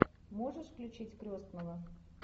можешь включить крестного